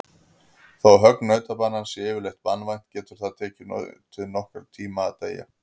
Þó högg nautabanans sé yfirleitt banvænt getur það tekið nautið nokkurn tíma að deyja.